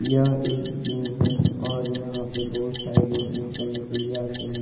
यह एक जिम है और यहां पे बहुत सारे लोग जिम करने के लिए आते हैं।